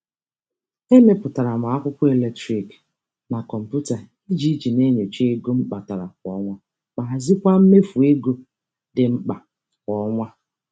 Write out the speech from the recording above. E mepụtara m akwụkwọ eletrik na kọmputa iji iji na-enyocha ego m kpatara kwa ọnwa ma hazikwa mmefu ego dị mkpa kwa ọnwa.